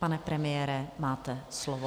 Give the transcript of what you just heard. Pane premiére, máte slovo.